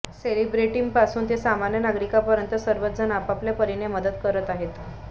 सेलिब्रिटींपासून ते सामान्य नागरिकांपर्यंत सर्वचजण आपापल्या परीने मदत करत आहेत